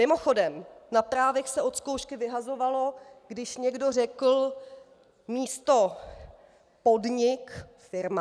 Mimochodem, na právech se od zkoušky vyhazovalo, když někdo řekl místo podnik firma.